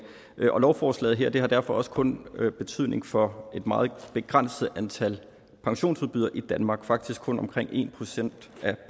og lovforslaget her har derfor også kun betydning for et meget begrænset antal pensionsudbydere i danmark og faktisk kun omkring en procent af